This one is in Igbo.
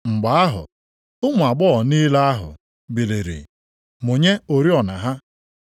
“Mgbe ahụ ụmụ agbọghọ niile ahụ + 25:7 E mere ka anyị mara na ndị a bụ ndị ha na nwoke ọbụla e dinabeghị. biliri mụnye oriọna ha.